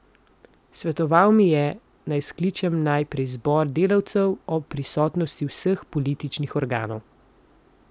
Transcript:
Svetoval mi je, naj skličem najprej zbor delavcev ob prisotnosti vseh političnih organov.